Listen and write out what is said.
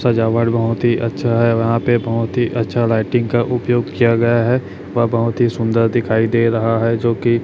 सजावट बहुत ही अच्छा है यहां पे बहुत ही अच्छा लाइटिंग का उपयोग किया गया है वह बहुत ही सुंदर दिखाई दे रहा है जो कि--